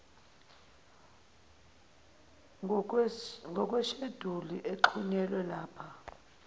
ngokwesheduli exhunyelwe lapha